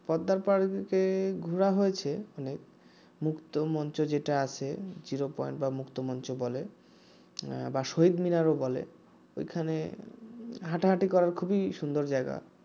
পদ্মারপাড় তে ঘোরা হয়েছে মুক্তমঞ্চ যেটা আছে জিরো পয়েন্ট বা মুক্তমঞ্চ বলে বা শহীদ মিনারও বলে ঐখানে হাটাহাটি করার খুবই সুন্দর জায়গা